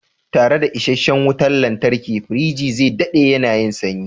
Tare da isasshen wutar lantarki, firiji zai daɗe yana yin sanyi.